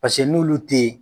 Paseke n'uolu tɛ yen.